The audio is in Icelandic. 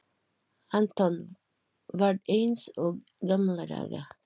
Anton, varð eins og í gamla daga.